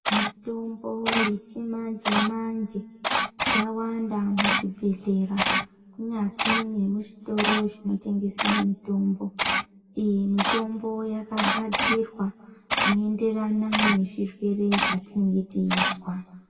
Mitombo yechimanje-manje, yawanda muzvibhehlera, kunyazi nemuzvitoro zvinotengese mitombo. Iyi mitombo yakagadzirwa zvinoenderana nezvirwere zvatinenge teizwa.